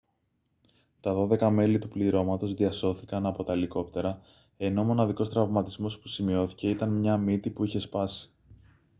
τα δώδεκα μέλη του πληρώματος διασώθηκαν από τα ελικόπτερα ενώ ο μοναδικός τραυματισμός που σημειώθηκε ήταν μια μύτη που είχε σπάσει